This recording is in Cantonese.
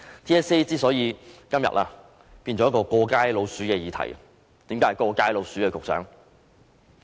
TSA 今天變成一個"過街老鼠"的議題，局長，為何是"過街老鼠"呢？